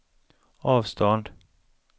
avstånd